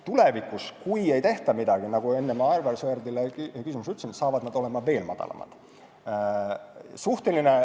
Tulevikus, kui ei tehta midagi, nagu ma enne Aivar Sõerdi küsimusele vastates ütlesin, on need veel madalamad.